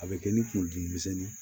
A bɛ kɛ ni kun dimi misɛnnin ye